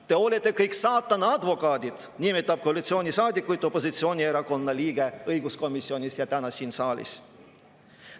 "Te olete kõik saatana advokaadid" – nii nimetab koalitsioonisaadikuid opositsioonierakonna liige õiguskomisjonis ja täna siin saalis.